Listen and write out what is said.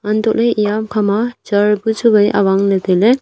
antoh le eya ham kha ma chair bu chu wai awang le tai le.